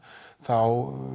þá